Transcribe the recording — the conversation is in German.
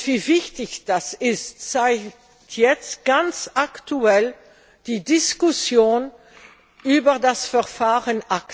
Wie wichtig das ist, zeigt jetzt ganz aktuell die Diskussion über das ACTA Verfahren.